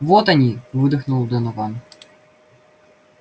вот они выдохнул донован